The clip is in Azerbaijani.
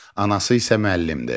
Anası isə müəllimdir.